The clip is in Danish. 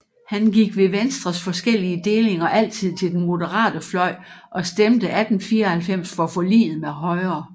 Han gik ved Venstres forskellige delinger altid til den moderate fløj og stemte 1894 for forliget med Højre